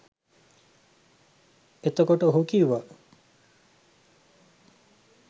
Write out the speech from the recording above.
එතකොට ඔහු කිව්වා